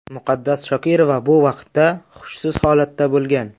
Muqaddas Shokirova bu vaqtda xushsiz holatda bo‘lgan.